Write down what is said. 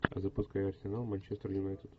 запускай арсенал манчестер юнайтед